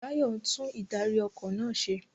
Bayo ń tún ìdarí- ọkọ̀ náà ṣe.